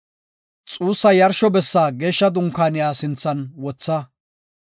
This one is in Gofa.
Xuugetiya yarsho bessi Geeshsha Dunkaaniya sinthan wotha.